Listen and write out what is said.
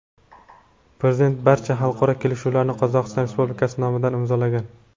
Prezident barcha xalqaro kelishuvlarni Qozog‘iston Respublikasi nomidan imzolagan.